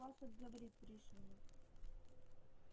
подпасок говорит пришвину